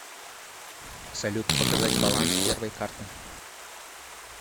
салют показать баланс первой карты